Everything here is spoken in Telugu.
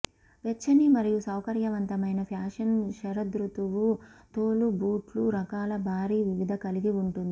వెచ్చని మరియు సౌకర్యవంతమైన ఫ్యాషన్ శరదృతువు తోలు బూట్లు రకాలు భారీ వివిధ కలిగి ఉంటుంది